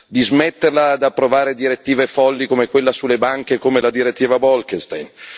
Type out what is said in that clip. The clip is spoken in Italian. di smetterla di approvare direttive folli come quella sulle banche e come la direttiva Bolkestein